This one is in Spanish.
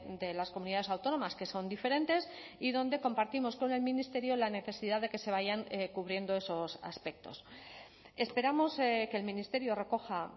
de las comunidades autónomas que son diferentes y donde compartimos con el ministerio la necesidad de que se vayan cubriendo esos aspectos esperamos que el ministerio recoja